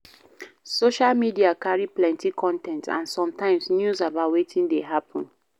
Social media carry plenty con ten t and some times news about wetin dey happen